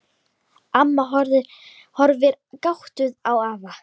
Amma horfir gáttuð á afa.